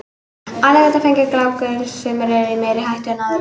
Allir geta fengið gláku en sumir eru í meiri hættu en aðrir.